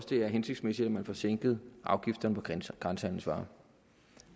det er hensigtsmæssigt at man får sænket afgifterne på grænsehandelsvarer